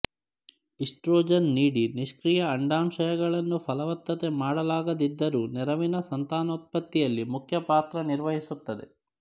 oestrogen ನೀಡಿ ನಿಷ್ಕ್ರಿಯ ಅಂಡಾಶಯಗಳನ್ನು ಫಲವತ್ತತೆ ಮಾಡಲಾಗದಿದ್ದರೂ ನೆರವಿನ ಸಂತಾನೋತ್ಪತ್ತಿಯಲ್ಲಿ ಮುಖ್ಯಪಾತ್ರ ನಿರ್ವಹಿಸುತ್ತದೆ